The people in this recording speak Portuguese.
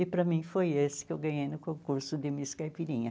E para mim foi esse que eu ganhei no concurso de Miss Caipirinha.